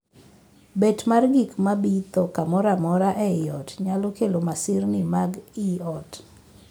Bet mar gik mabitho kamoro amora ei ot nyalo kelo masirni mag ii ot.